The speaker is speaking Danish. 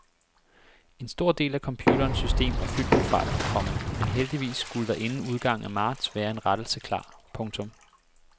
En stor del af computerens system er fyldt med fejl, komma men heldigvis skulle der inden udgangen af marts være en rettelse klar. punktum